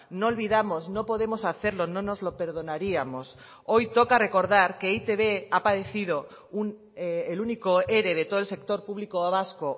no olvidamos no podemos hacerlo no nos lo perdonaríamos hoy toca recordar que e i te be ha padecido el único ere de todo el sector público vasco